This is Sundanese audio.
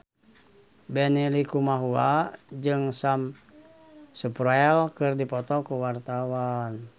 Benny Likumahua jeung Sam Spruell keur dipoto ku wartawan